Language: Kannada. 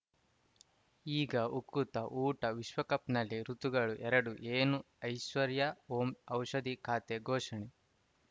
ಈಗ ಉಕುತ ಊಟ ವಿಶ್ವಕಪ್‌ನಲ್ಲಿ ಋತುಗಳು ಎರಡು ಏನು ಐಶ್ವರ್ಯಾ ಓಂ ಔಷಧಿ ಖಾತೆ ಘೋಷಣೆ